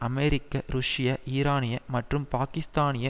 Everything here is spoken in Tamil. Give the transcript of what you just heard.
அமெரிக்க ருஷ்ய ஈரானிய மற்றும் பாக்கிஸ்தானிய